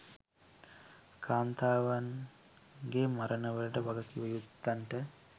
කාන්තාවන්ගේ මරණ වලට වගකිව යුත්තන්ට